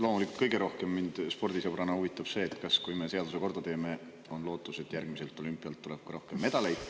Loomulikult mind spordisõbrana kõige rohkem huvitab see, et kui me seaduse korda teeme, kas on lootust, et järgmiselt olümpialt tuleb rohkem medaleid.